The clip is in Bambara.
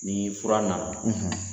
Ni fura na na